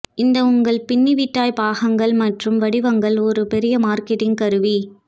இந்த உங்கள் பின்னிவிட்டாய் பாகங்கள் மற்றும் வடிவங்கள் ஒரு பெரிய மார்க்கெட்டிங் கருவி